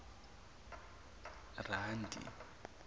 randi